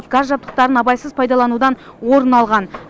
газ жабдықтарын абайсыз пайдаланудан орын алған